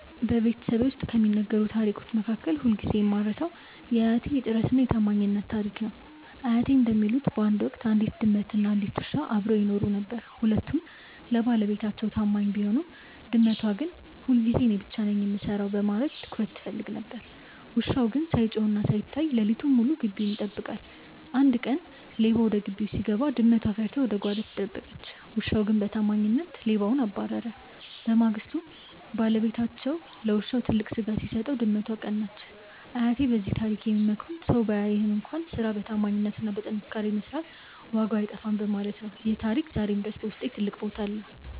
በቤተሰቤ ውስጥ ከሚነገሩ ታሪኮች መካከል ሁልጊዜ የማልረሳው የአያቴ "የጥረትና የታማኝነት" ታሪክ ነው። አያቴ እንደሚሉት፣ በአንድ ወቅት አንዲት ድመትና አንድ ውሻ አብረው ይኖሩ ነበር። ሁለቱም ለባለቤታቸው ታማኝ ቢሆኑም፣ ድመቷ ግን ሁልጊዜ እኔ ብቻ ነኝ የምሰራው በማለት ትኩረት ትፈልግ ነበር። ውሻው ግን ሳይጮህና ሳይታይ ሌሊቱን ሙሉ ግቢውን ይጠብቃል። አንድ ቀን ሌባ ወደ ግቢው ሲገባ፣ ድመቷ ፈርታ ወደ ጓዳ ተደበቀች። ውሻው ግን በታማኝነት ሌባውን አባረረ። በማግስቱ ባለቤታቸው ለውሻው ትልቅ ስጋ ሲሰጠው፣ ድመቷ ቀናች። አያቴ በዚህ ታሪክ የሚመክሩን ሰው ባያይህም እንኳን ስራህን በታማኝነትና በጥንካሬ መስራት ዋጋው አይጠፋም በማለት ነው። ይህ ታሪክ ዛሬም ድረስ በውስጤ ትልቅ ቦታ አለው።